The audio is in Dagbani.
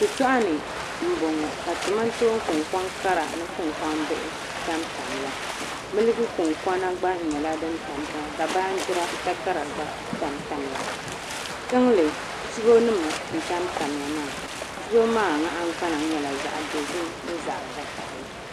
Shitoɣuni m boŋɔ ka kamantoon kunkoŋ kara ni kaonkoŋ bihi tam tam ya miliki kunkona gba nyɛla fin tam tamya ka baagira takara gba tam tamya tiŋli chibo nima n tam tam ya maa chibo maa nahingbana nyɛla zaɣa dozim ni zaɣa vakahali.